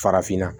Farafinna